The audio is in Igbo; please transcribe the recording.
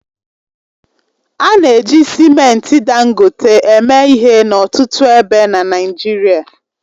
A na-eji simenti Dangote eme ihe n'ọtụtụ ebe n'Naịjirịa